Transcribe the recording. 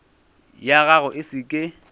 ya gago e se ke